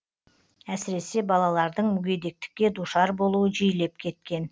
әсіресе балалардың мүгедектікке душар болуы жиілеп кеткен